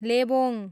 Lebong